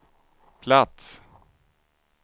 plats